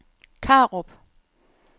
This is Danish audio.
Karup